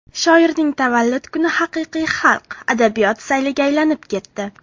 Shoirning tavallud kuni haqiqiy xalq, adabiyot sayliga aylanib ketdi.